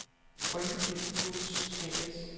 Rynkeby Foods A/S